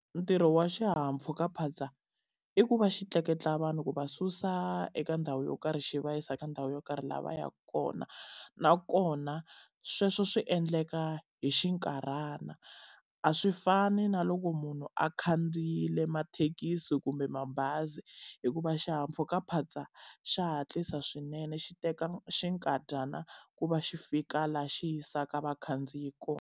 Ntirho wa xihahampfhukaphatsa i ku va xi tleketla vanhu ku va susa eka ndhawu yo karhi xi va yisa ka ndhawu yo karhi laha va yaka kona. Nakona sweswo swi endleka hi xinkarhana, a swi fani na loko munhu a khandziyile mathekisi kumbe mabazi. Hikuva xihahampfhukaphatsa xa hatlisa swinene xi teka xinkadyana ku va xi fika laha xi yisaka vakhandziyi kona.